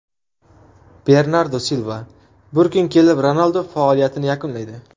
Bernardu Silva: Bir kun kelib Ronaldu faoliyatini yakunlaydi.